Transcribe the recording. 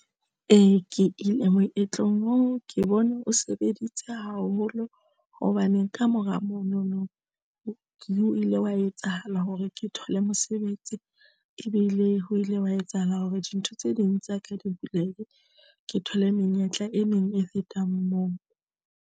Ee, ke ile moetlong oo ke bone o sebeditse haholo hobane kamora monono o ile wa etsahala hore ke thole mosebetsi ebile ho ile wa etsahala hore dintho tse ding tsa ka di bulehe ke thole menyetla e neng e fetang moo.